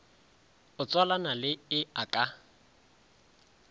o tswalana le e ka